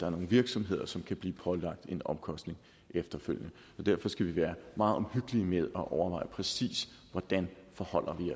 er nogle virksomheder som kan blive pålagt en omkostning efterfølgende derfor skal vi være meget omhyggelige med at overveje præcis forholder